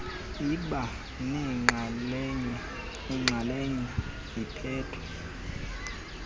iba nenxalenye ephethwe